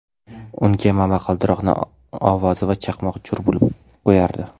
unga momaqaldiroqni ovozi va chaqmoq jo‘r bo‘lib qo‘yardi.